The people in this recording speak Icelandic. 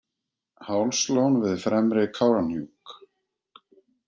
Hálslón við fremri Kárahnjúk.